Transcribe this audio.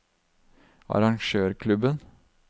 arrangørklubben